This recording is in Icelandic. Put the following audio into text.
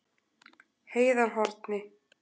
Heiðarhorni